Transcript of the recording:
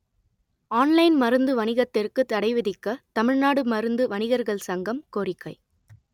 on line மருந்து வணிகத்திற்கு தடை விதிக்க தமிழ்நாடு மருந்து வணிகர்கள் சங்கம் கோரிக்கை